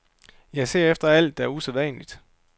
Jeg ser efter alt, der er usædvanligt.